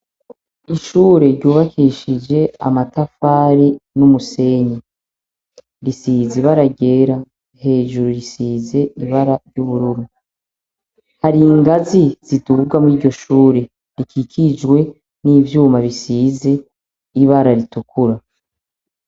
Ishure ryubakishije amatafari n'umusenyi, risize ibara ryera, hejuru risize ibara ry'ubururu, hari ingazi ziduga muri iryo shure, rikikijwe n'ivyuma bisize ibara ritukura.